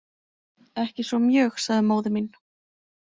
Ekki svo mjög, sagði móðir mín.